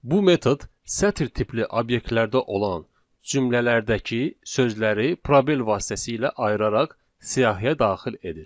Bu metod sətr tipli obyektlərdə olan cümlələrdəki sözləri probel vasitəsilə ayıraraq siyahıya daxil edir.